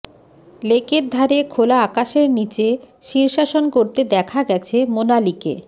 লেকের ধারে খোলা আকাশের নীচে শীর্ষাসন করতে দেখা গেছে মোনালিকে